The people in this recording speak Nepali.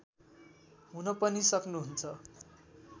हुन पनि सक्नुहुन्छ